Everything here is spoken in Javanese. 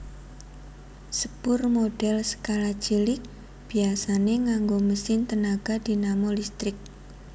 Sepur modèl skala cilik biasané nganggo mesin tenaga dinamo listrik